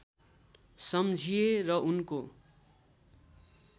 सम्झिए र उनको